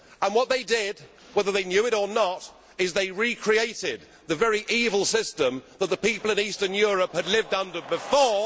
What they did, whether they knew it or not, was to recreate the very evil system that the people in Eastern Europe had lived under before.